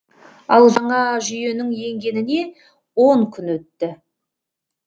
ал жаңа жүйенің енгеніне он күн өтті